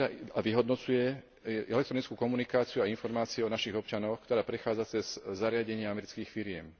a vyhodnocuje elektronickú komunikáciu a informácie o našich občanoch, ktorá prechádza cez zariadenia amerických firiem.